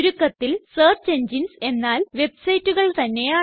ചുരുക്കത്തില് search engines എന്നാല് വെബ്സൈറ്റുകൾ തന്നെയാണ്